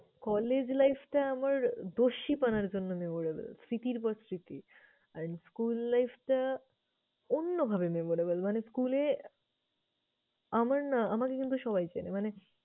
Collage life টা আমার দস্যিপনার জন্য memorable স্মৃতির পর স্মৃতি। আর school life টা অন্যভাবে memorable মানে school এ আমার না আমাকে কিন্তু সবাই চেনে মানে